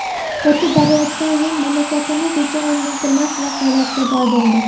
O‘tib borayotgan yil mamlakatimiz uchun unutilmas voqealarga boy bo‘ldi.